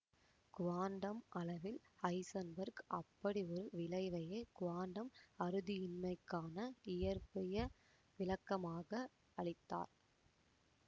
quantum அளவில் Heisenberg அப்படி ஒரு விளைவையே குவாண்டம் அறுதியின்மைக்கான இயற்பிய விளக்கமாக அளித்தார்